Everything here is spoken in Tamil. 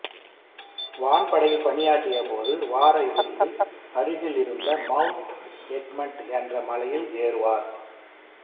வான்படையில் பணியாற்றியபோது வார இறுதியில் அருகிலிருந்த மவுண்ட் எக்மென்ட் என்ற மலையில் ஏறுவார்